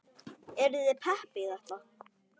Eruð þið pepp í þetta?